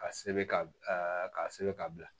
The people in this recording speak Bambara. Ka sɛbɛn ka ka sɛbɛn ka bila